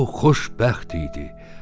O xoşbəxt idi,